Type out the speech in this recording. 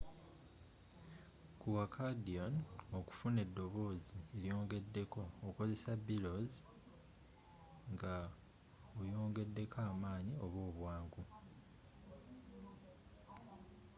ku accordion okufuna edobooze eryeyongedeko okozesa bellows nga oyongedeko amaanyi oba obwangu